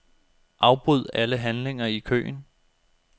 Afbryd alle handlinger i køen.